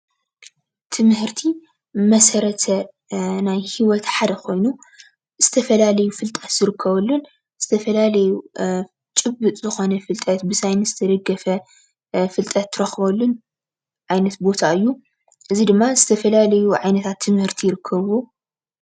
ትምህርቲ መሰረተ ናይ ሂወት ሓደ ኮይኑ ዝተፈላለየ ፍልጠት ዝርከበሉን ዝተፈላለየ ጭቡጥ ዝኾነ ፍልጠት ብሳይንስ ዝተደገፈ ፍልጠት ትረኽበሉን ዓይነት ቦታ እዩ፡፡ እዚ ድማ ዝተፈላለዩ ዓይነታት ትምህርቲ ይርከብዎ፡፡